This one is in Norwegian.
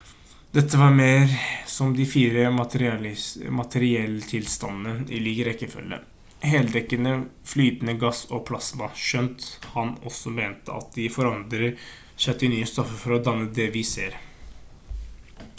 dette var mer som de 4 materietilstandene i lik rekkefølge: heldekkende flytende gass og plasma skjønt han også mente at de forandrer seg til nye stoffer for å danne det vi ser